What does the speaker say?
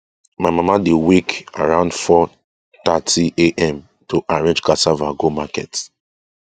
my mama dey wake around 430am to arrange cassava go market